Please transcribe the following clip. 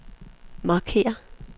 markér